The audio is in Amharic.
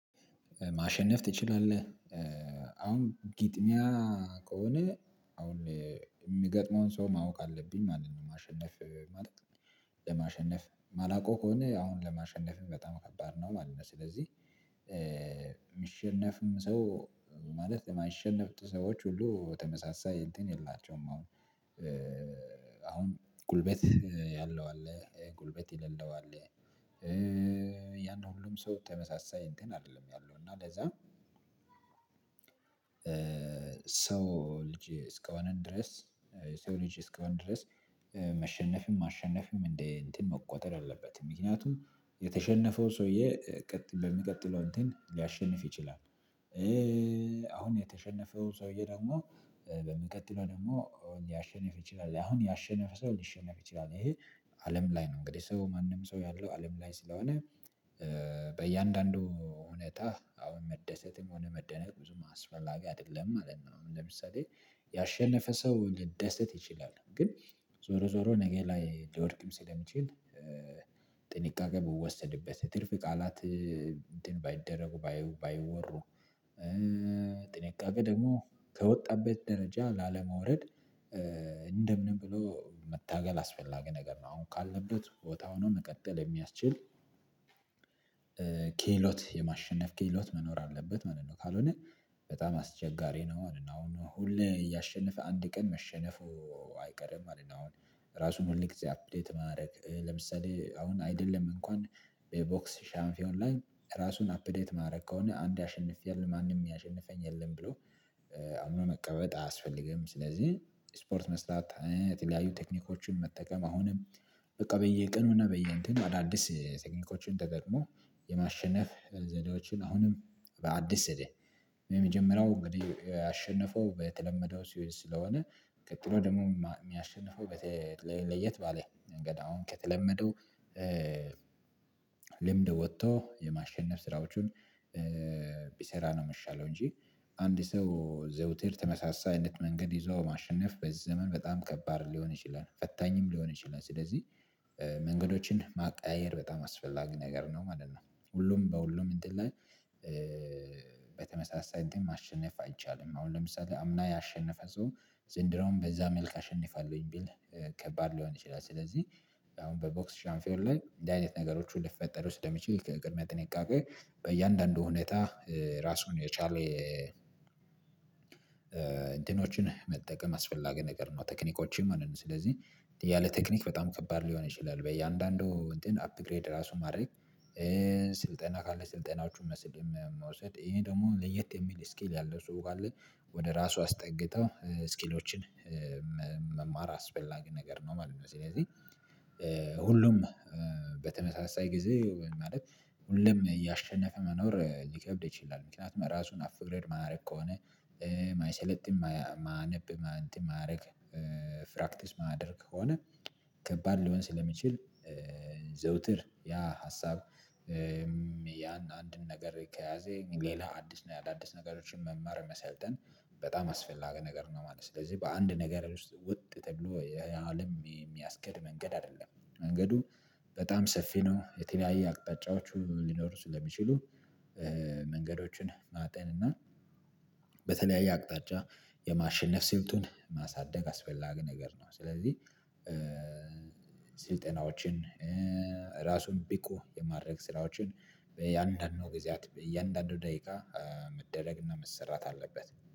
ማሸነፍ ትችላለህ አሁን ግጥሚያ ከሆነ አሁን የሚገጥመውን ሰው ማወቅ አለብኝ ማለት ነው። ማሸነፍ ማለት ነው ለማሸነፍ ማላቀው ከሆነ አሁን ለማሸነፍም በጣም ከባድ ነው ማለት ነው። ስለዚህ የሚሸነፍም ሰው ማለት የማይሸነፍ ሰዎች ሁሉ ተመሳሳይ እንትን የላቸውም አሁን አሁን ጉልበት ያለው አለ ጉልበት የልለው አለ። ያን ነው ሁሉም ሰው ተመሳሳይ እንትን አይደለም ያለው እና። ለዛ ሰው ልጅ እስከሆንን ድረስ ሰው ልጅ እስከ ሆንን ድረስ መሸነፍም ማሸነፍም እንደ እንትን መቆጠር የለበትም። ምክንያቱም የተሸነፈው ሰውዬ ለሚቀጥለው እንትን ሊያሸንፍ ይችላል። አሁን የተሸነፈው ሰውዬ ደግሞ በሚቀጥለው ደግሞ ሊያሸንፍ ይችላል አሁን ያሸነፈ ሰው ሊሸነፍ ይችላል ይሄ አለም ላይ ነው። እንግዲህ ሰው ማንም ሰው ያለው አለም ላይ ስለሆነ በእያንዳንዱ ሁንታ አሁን መደሰትም ሆነ መደነቅ ብዙም አስፈላጊ አይደለም ማለት ነው። ለምሳሌ ያሸነፈ ሰው ሊደሰት ይችላል ግን ዞሮ ዞሮ ነገ ላይ ሊወድቅም ስለሚችል። ጥንቃቄ ቢወሰድበት ትርፍ ቃላት እንትን ባይደረጉ ባይወሩ ጥንቃቄ ደግሞ ከወጣበት ደረጃ ላለመውረድ እንደምንም ብሎ መታገል አስፈላጊ ነገር ነው። አሁን ካለበት ቦታ ሆኖ መቀጠል የሚያስችል ክህሎት የማሸነፍ ክህሎት መኖር አለበት ማለት ነው። ካልሆነ በጣም አስቸጋሪ ነው አሁን ሁሌ እያሸነፈ አንድ ቀን መሸነፉ አይቀርም። አሁን ራሱን ሁል ጊዜ አፕዴት ማድረግ ለምሳሌ አሁን አይደለም እንኳን በቦክስ ሻምፒዮን ላይ ራሱን አፕዴት ማድረግ ከሆነ አንዴ አሸንፌያለሁ ማንም ያሸንፈኝ የለም ብሎ አሁን መቀበጥ አያስፈልግም። ስለዚህ ስፖርት መስራት የተለያዩ ቴክኒኮችን መጠቀም አሁንም በቃ በየቀኑ እና በየእንትን አዳዲስ ቴክኒኮችን ተጠቅሞ የማሸነፍ ዘድዎችን አሁንም በአዲስ እዴ የመጀመሪያው እንግዲህ አሸንፎ በተለመደው ስዊል ስለሆነ ቀጥሎ ደግሞ የሚያሸንፈው በተለየ ባለ ነገር አሁን ከተለመዱ ልምድ ወጥቶ የማሸነፍ ስራዎቹን ቢሰራ ነው። የሚሻለው እንጂ አንድ ሰው ዘውትር ተመሳሳይ አይነት መንገድ ይዞ ማሸነፍ በዚህ ዘመን በጣም ከባድ ሊሆን ይችላል ፈታኝም ሊሆን ይችላል። ስለዚህ መንገዶችን ማቀያየር በጣም አስፈላጊ ነገር ነው ማለት ነው። ሁሉም በሁሉም እንትን ላይ በተመሳሳይ እንትን ማሸነፍ አይቻልም። አሁን ለምሳሌ አምና ያሸነፈ ሰው ዘንድሮም በዛ መልክ አሸንፋለሁኝ ቢል ከባድ ሊሆን ይችላል ስለዚህ አሁን በቦክስ ሻምፒዮንስ ላይ እንድ አይነት ነገሮች ሊፈጠሩ ውስጥ ስለሚችል ከቅድሚያ ጥንቃቄ በእያንዳንዱ ሁኔታ ራሱን የቻለ ነው መጠቀም አስፈላጊ ነገር ነው። ቴክኒኮችን ማለት ነው ስለዚህ ያለ ቴክኒክ በጣም ከባድ ሊሆን ይችላል በየአንዳንዱ እንትን አፕግሬድ ራሱ ማድረግ። ስልጠና ካለ ስልጠናዎቹን መስል መወሰድ ይሄ ደግሞ ለየት የሚል ስኪል ያለው ሰው ካለ ወደ ራሱ አስጠግተው ስኪሎችን መማር አስፈላጊ ነገር ነው። መልኩ ሁሉም በተመሳሳይ ጊዜ ማለት ሁሉም እያሸነፈ መኖር ሊከብድ ይችላል ምክንያቱም ራሱን አፕግሬድ ማያደርግ ከሆነ ማይሰለጥም ማያነብ እንትን ማያደርግ ፕራክቲስ ማድረግ ከሆነ ከባድ ሊሆን ስለሚችል ዘወትር ያ ሀሳብ ያን አንድን ነገር ከያዘ ሌላ አዲስ ነገሮችን መማር መሰልጠን በጣም አስፈላጊ ነገር ነው ማለት ነው። ስለዚህ በአንድ ነገር ውስጥ ውጥ ተብሎ የአለም የሚያስገድ መንገድ አይደለም። መንገዱ በጣም ሰፊ ነው የተለያየ አቅጣጫዎቹ ሊኖሩ ስለሚችሉ መንገዶችን ማጠን እና በተለያየ አቅጣጫ የማሸነፍ ስልቱን ማሳደግ አስፈላጊ ነገር ነው። ስለዚህ ስልጠናዎችን ራሱን ብቁ የማድረግ ስራዎችን በእያንዳንዱ ጊዜያት በእያንዳንዱ ደቂቃ መደረግ እና መሰራት አለበት።